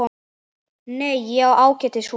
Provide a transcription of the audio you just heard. Nei, ég á ágætis hús.